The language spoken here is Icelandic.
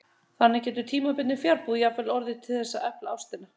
Þannig getur tímabundin fjarbúð jafnvel orðið til þess að efla ástina.